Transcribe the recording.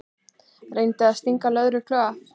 Reyndi að stinga lögreglu af